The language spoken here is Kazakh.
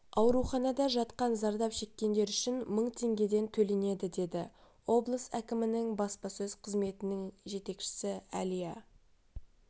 ауруханада жатқан зардап шеккендер үшін мың теңгеден төленеді деді облыс әкімінің баспасөз қызметінің жетекшісі әлия